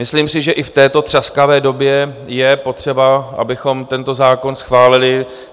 Myslím si, že i v této třaskavé době je potřeba, abychom tento zákon schválili.